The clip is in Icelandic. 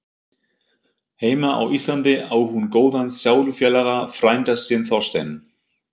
Heima á Íslandi á hún góðan sálufélaga, frænda sinn Þorstein